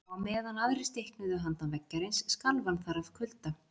Og á meðan aðrir stiknuðu handan veggjarins skalf hann þar af kulda.